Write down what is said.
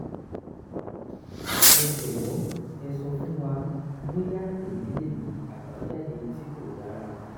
ẹ jọwọ ẹ sọ fún wa bóyáèyí lè ní àbájáde tí kò dára